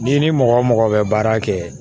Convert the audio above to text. N'i ni mɔgɔ mɔgɔ bɛ baara kɛ